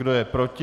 Kdo je proti?